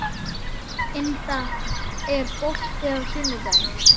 Inda, er bolti á sunnudaginn?